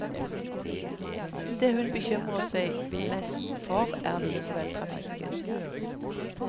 Det hun bekymrer seg mest for, er likevel trafikken.